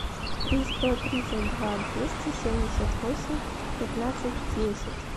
три сто тридцать два двести семьдесят восемь пятнадцать десять